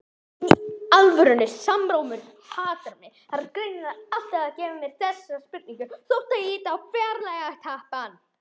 Bréfið var stutt, ekki lengra en hálf blaðsíða.